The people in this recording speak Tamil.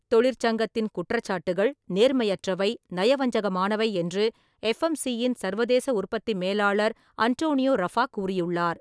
தொழிற்சங்கத்தின் குற்றச்சாட்டுகள் நேர்மையற்றவை, நயவஞ்சகமானவை என்று எஃப்எம்சி-யின் சர்வதேச உற்பத்தி மேலாளர் அன்டோனியோ ரஃபாக் கூறியுள்ளார்.